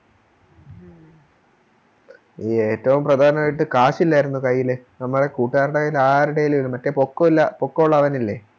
ഈ ഏറ്റോം പ്രധാനവായിട്ട് കാശില്ലാരുന്നു കൈയില് നമ്മളെ കൂട്ടുകാരുടെ കൈയിൽ ആരുടെ കൈയ്യിലും മറ്റേ പോക്കൊലാ പോക്കൊള്ളവനില്ലേ